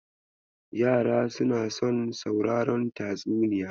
Yara suna son sauraron tatsuniya.